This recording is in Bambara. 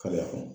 Kariya kɔnɔ